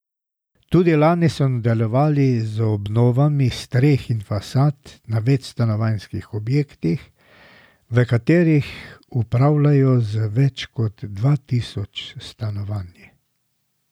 Tudi lani so nadaljevali z obnovami streh in fasad na večstanovanjskih objektih, v katerih upravljalo z več kot dva tisoč stanovanji.